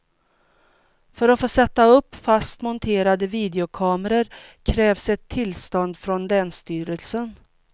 För att få sätta upp fast monterade videokameror krävs ett tillstånd från länsstyrelsen.